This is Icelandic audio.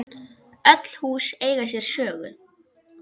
Öll hús eiga sér sögu.